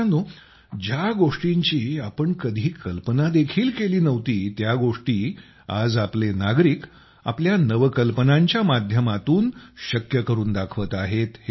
मित्रांनो ज्या गोष्टींची आपण कधी कल्पना देखील केली नव्हती त्या गोष्टी आज आपले नागरिक आपल्या नवकल्पनांच्या माध्यमातून शक्य करून दाखवत आहेत